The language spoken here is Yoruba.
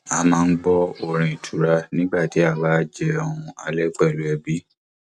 a máa ń gbọ orin ìtura nígbà tí a bá jẹun alẹ pẹlú ẹbí